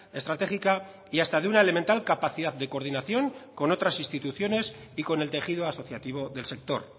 estratégica y hasta de una elemental capacidad de coordinación con otras instituciones y con el tejido asociativo del sector